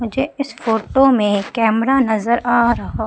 मुझे इस फोटो में कैमरा नजर आ रहा--